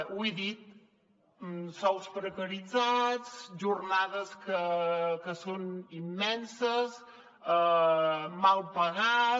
ho he dit sous precaritzats jornades que són immenses mal pagats